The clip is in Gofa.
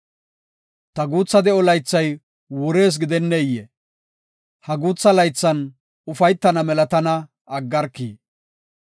Ta guutha de7o laythay wurees gidenneyee? Ha guutha laythan ufaytana mela tana aggarki!